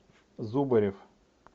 зубарев